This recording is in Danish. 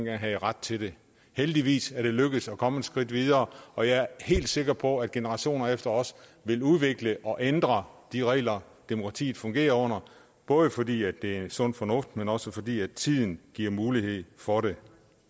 havde ret til det heldigvis er det lykkedes at komme et skridt videre og jeg er helt sikker på at generationer efter os vil udvikle og ændre de regler demokratiet fungerer under både fordi det er sund fornuft men også fordi tiden giver mulighed for det